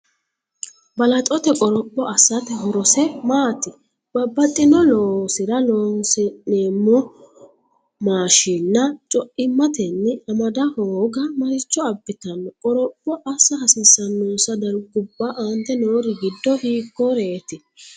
Balaxote qoropho assate horose maati? Babbaxxino loosira horoonsi’neemmo maashiinna co’immatenni am- ada hooga maricho abbitanno? Qoropho assa hasiissannonsa darguwa aante noori giddo hiikkoreeti?